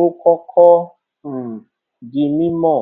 ó kọkọ um di mímọ